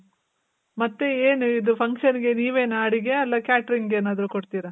ಮತ್ತೆ, ಏನು ಇದು function ಗೆ ನೀವೆನ ಅಡ್ಗೆ, ಇಲ್ಲ catering ಏನಾದ್ರು ಕೊಡ್ತೀರ?